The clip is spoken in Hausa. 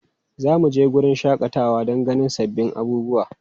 Za mu je wurin shakatawa don ganin sabbin abubuwa.